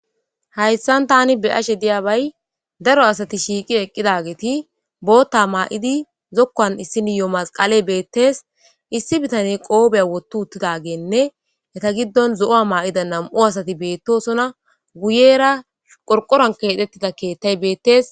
hayssan tani be7ashe diya bay daro asati shiiqi eqqidageeti bootta maa7idi zokuwan issiniyo masqale beettes issi bitane qoobiya wottu uttidageenne eta giddon zo7uwa maa7ida nam7u asati beettosona guyera qorqoran keedhettida keettay beettees